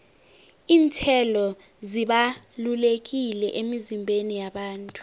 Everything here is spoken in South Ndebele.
iinthelo zibalulekile emizimbeni yabantu